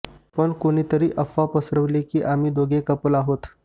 पण कुणीतरी अफवा पसरवली की आम्ही दोघं कपल आहोत